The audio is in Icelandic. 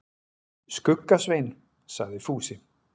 Skugga-Svein, sagði Fúsi.